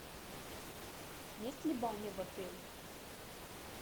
есть ли баня в отеле